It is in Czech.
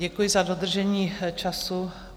Děkuji za dodržení času.